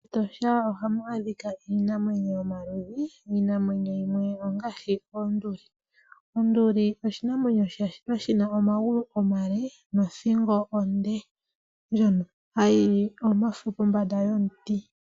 MEtosha ohamu adhika iinamwenyo yomaludhi iinamwenyo yimwe ongaashi oonduli, onduli oshinamwenyo shashitwa shina omagulu omale nothingo onde ndjono hayili omafo pombanda yomuti.